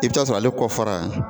I bi taa sɔrɔ ale kɔ fara